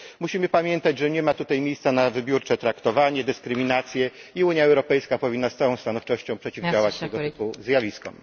Musimy pamiętać, że nie ma tutaj miejsca na wybiórcze traktowanie, dyskryminację i Unia Europejska powinna z całą stanowczością przeciwdziałać temu typu zjawiskom.